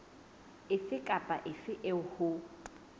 efe kapa efe eo ho